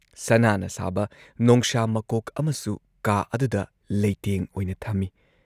ꯁꯅꯥꯅ ꯁꯥꯕ ꯅꯣꯡꯁꯥ ꯃꯀꯣꯛ ꯑꯃꯁꯨ ꯀꯥ ꯑꯗꯨꯗ ꯂꯩꯇꯦꯡ ꯑꯣꯏꯅ ꯊꯝꯏ ꯫